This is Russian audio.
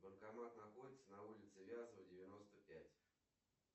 банкомат находится на улице вязова девяносто пять